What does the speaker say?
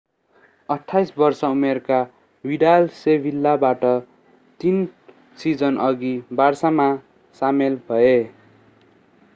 28-वर्ष-उमेरका Vidal सेभिलाबाट तीन सिजनअघि बार्सामा सामेल भए।